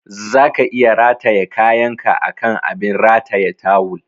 Zaka iya rataye kayanka akan abin rataye tawul.